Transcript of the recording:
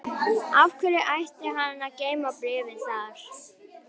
Af hverju ætti hann að geyma bréfið þar?